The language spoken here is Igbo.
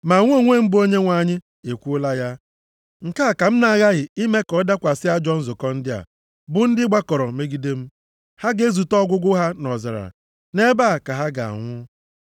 Mụ onwe m, bụ Onyenwe anyị, ekwuola ya. Nke a ka m na-aghaghị ime ka ọ dakwasị ajọ nzukọ ndị a, bụ ndị gbakọrọ megide m. Ha ga-ezute ọgwụgwụ ha nʼọzara, nʼebe a ka ha ga-anwụ.’ ”